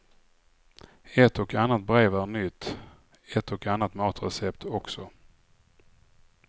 Ett och annat brev är nytt, ett och annat matrecept också.